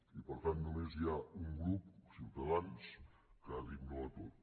i per tant només hi ha un grup ciutadans que ha dit no a tot